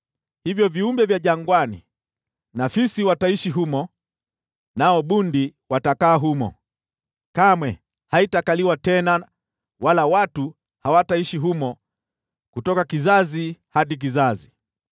“Kwa hiyo, viumbe vya jangwani na fisi wataishi humo, nao bundi watakaa humo. Kamwe haitakaliwa tena wala watu hawataishi humo kutoka kizazi hadi kizazi.